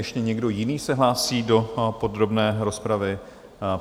Ještě někdo jiný se hlásí do podrobné rozpravy?